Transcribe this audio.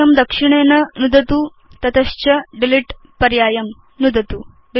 कक्षं दक्षिणेन नुदतु तत च डिलीट पर्यायं नुदतु